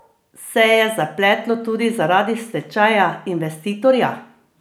Se je zapletlo tudi zaradi stečaja investitorja?